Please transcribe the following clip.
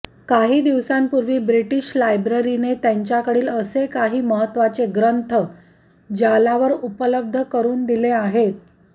काही दिवसांपूर्वी ब्रिटिश लायब्ररीने त्यांच्याकडील असे काही महत्वाचे ग्रंथ जालावर उपलब्ध करून दिले आहेत